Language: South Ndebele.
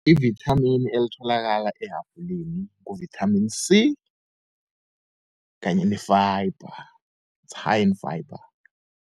Ivithamini elitholakala ehabhuleni ngu-vitamin C kanye ne-fiber, is hign in fiber.